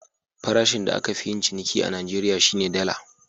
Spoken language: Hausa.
Farashin da aka fi yin ciniki a Najeriya, shi ne Dala.